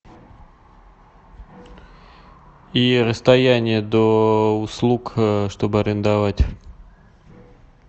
и расстояние до услуг чтобы арендовать